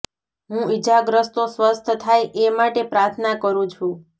હું ઇજાગ્રસ્તો સ્વસ્થ થાય એ માટે પ્રાર્થના કરું છું